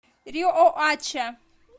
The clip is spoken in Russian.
риоача